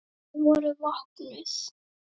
Þau voru vopnuð.